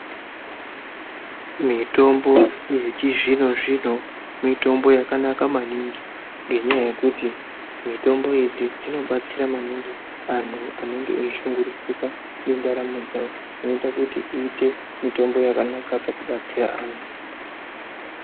Mitombo yechizvino zvino mitombo yakanaka maningi ngenyaya yekuti mitombo idzi dzinobatsira maningi vantu vanenge veishungurudzika nendaramo dzavo vanoita Kuti iite mitombo yakanaka pakubatsira antu.